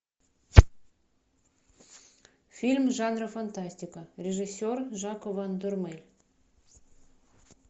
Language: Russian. фильм жанра фантастика режиссер жако ван дормель